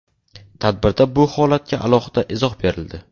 Tadbirda bu holatga alohida izoh berildi.